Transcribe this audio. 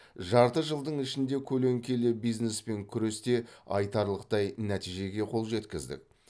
жарты жылдың ішінде көлеңкелі бизнеспен күресте айтарлықтай нәтижеге қол жеткіздік